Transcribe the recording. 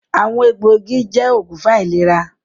“Àwọn egbò igi” jẹ́ oògùn fún àìlera